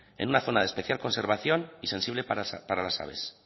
en una zona de especial conservación y sensible para las aves